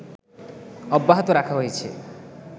অব্যাহত রাখা হয়েছে